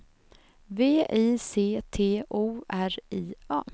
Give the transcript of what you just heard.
V I C T O R I A